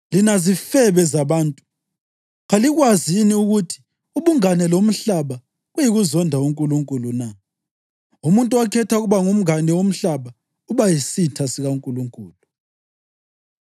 Lina zifebe zabantu, kalikwazi yini ukuthi ubungane lomhlaba kuyikuzonda uNkulunkulu na? Umuntu okhetha ukuba ngumngane womhlaba uba yisitha sikaNkulunkulu.